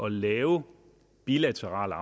lave bilaterale